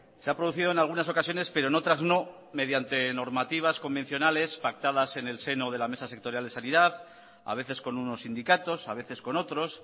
se ha producido en algunas ocasiones pero en otras no mediante normativas convencionales pactadas en el seno de la mesa sectorial de sanidad a veces con unos sindicatos a veces con otros